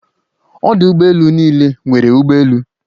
Odu ụgbọ elu n'ile nwere ụgbọ elu